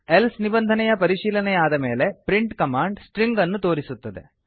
else ನಿಬಂಧನೆಯ ಪರಿಶೀಲನೆಯಾದ ಮೇಲೆ ಪ್ರಿಂಟ್ ಕಮಾಂಡ್ ಸ್ಟ್ರಿಂಗ್ ಅನ್ನು ತೋರಿಸುತ್ತದೆ